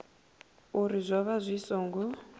uri zwo vha zwi songo